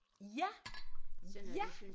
Ja ja